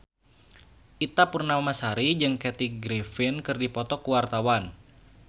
Ita Purnamasari jeung Kathy Griffin keur dipoto ku wartawan